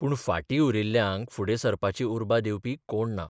पूण फार्टी उरिल्ल्यांक फुडें सरपाची उर्बा दिवपी कोण ना.